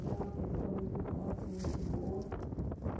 Ela era uma pessoa muito dócil, muito boa.